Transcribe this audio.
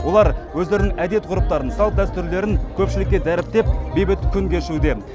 олар өздерінің әдет ғұрыптарын салт дәстүрлерін көпшілікке дәріптеп бейбіт күн кешуде